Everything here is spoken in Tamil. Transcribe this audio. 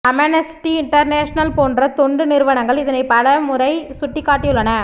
அமெனஸ்டி இண்டர்னேஷனல் போன்ற தொண்டு நிறுவனங்கள் இதனை பல முறை சுட்டிக்காட்டியுள்ளன